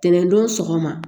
Tɛnɛndon sogoma